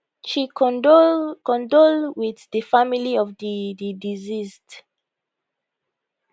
she condole condole wit di family of di di deceased